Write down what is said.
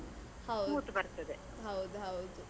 ಹೌದು.